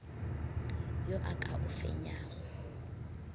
yo a ka o fenyago